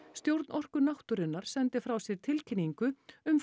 stjórn Orku náttúrunnar sendi frá sér tilkynningu um